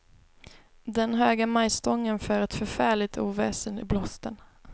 Den höga majstången för ett förfärligt oväsen i blåsten.